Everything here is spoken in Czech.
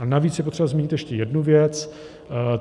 A navíc je potřeba zmínit ještě jednu věc.